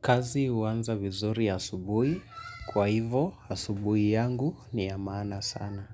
Kazi huanza vizuri asubuhi kwa hivo asubuhi yangu ni ya maana sana.